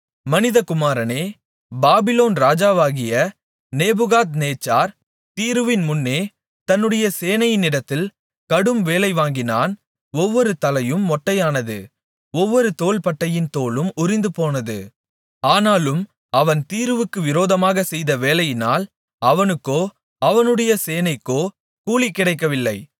மனிதகுமாரனே பாபிலோன் ராஜாவாகிய நேபுகாத்நேச்சார் தீருவின் முன்னே தன்னுடைய சேனையினிடத்தில் கடும் வேலை வாங்கினான் ஒவ்வொரு தலையும் மொட்டையானது ஒவ்வொரு தோள்பட்டையின் தோலும் உரிந்துபோனது ஆனாலும் அவன் தீருவுக்கு விரோதமாகச் செய்த வேலையினால் அவனுக்கோ அவனுடைய சேனைக்கோ கூலி கிடைக்கவில்லை